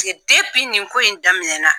nin ko in daminɛna